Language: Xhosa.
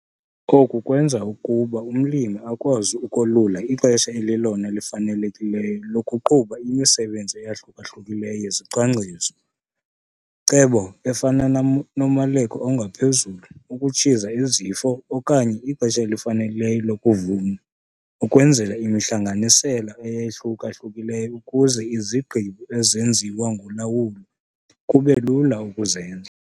Oku kwenza ukuba umlimi akwazi ukolula ixesha elilelona lifanelekileyo lokuqhuba imisebenzi eyahluka-hlukileyo yezicwangciso-cebo, efana nomaleko ongaphezulu, ukutshiza izifo okanye ixesha elifanelekileyo lokuvuna ukwenzela imihlanganisela eyahluka-hlukileyo, ukuze izigqibo ezenziwa ngolawulo kube lula ukuzenza.